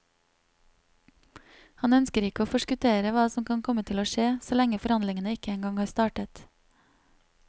Han ønsker ikke å forskuttere hva som kan komme til å skje, så lenge forhandlingene ikke engang har startet.